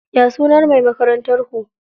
Ya sunan mai makarantar ku?